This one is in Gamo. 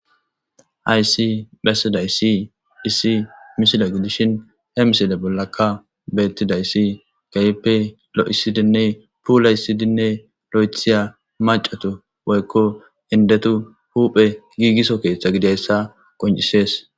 aysi lesiday si issi misila gidishin he miside bollakka bettidayssi kaype lo7isidinne puulay sidinne lo7ethiya macatu woykko indetu huuphe giigiso keeththa gidayssa qoncisees